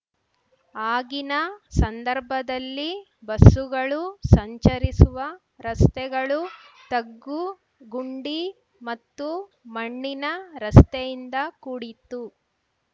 ಆಗಿನ ಸಂದರ್ಭದಲ್ಲಿ ಬಸ್ಸುಗಳು ಸಂಚರಿಸುವ ರಸ್ತೆಗಳು ತಗ್ಗುಗುಂಡಿ ಮತ್ತು ಮಣ್ಣಿನ ರಸ್ತೆಯಿಂದ ಕೂಡಿತ್ತು